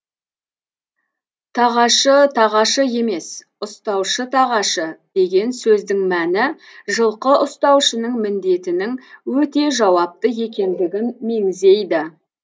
тағашы тағашы емес ұстаушы тағашы деген сөздің мәні жылқы ұстаушының міндетінің өте жауапты екендігін меңзейді